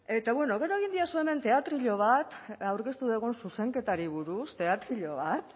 eta bueno gero egin didazuen hemen teatrillo bat aurkeztu dugun zuzenketari buruz teatrillo bat